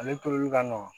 Ale toli ka nɔgɔn